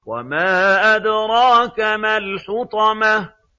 وَمَا أَدْرَاكَ مَا الْحُطَمَةُ